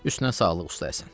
Üstünə sağlıq, usta Həsən.